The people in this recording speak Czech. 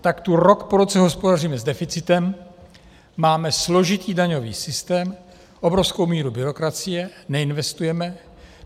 Tak tu rok po roce hospodaříme s deficitem, máme složitý daňový systém, obrovskou míru byrokracie, neinvestujeme.